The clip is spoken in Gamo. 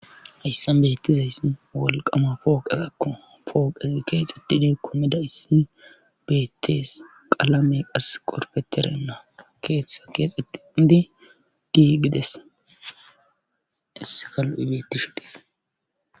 Hayssan bettizayssi walqama pooqesakko pooqesi keexedidi koomida issi beettes qalame qas qorpeterenna keeththa keexeti indi dii gides isse kalu7hi betti shidhes